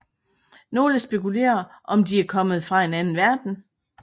Nogle spekulerer om de er kommet fra en anden verden